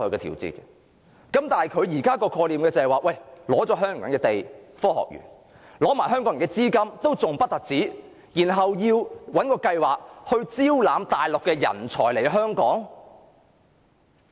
但現在的創科概念是，拿了香港人的地和資金建科學園，還不止，然後找一個計劃招攬內地人才來香港。